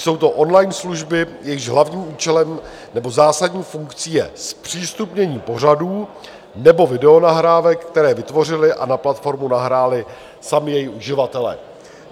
Jsou to on-line služby, jejichž hlavním účelem nebo zásadní funkcí je zpřístupnění pořadů nebo videonahrávek, které vytvořili a na platformu nahráli sami její uživatelé.